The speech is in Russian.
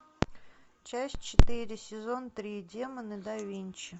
часть четыре сезон три демоны да винчи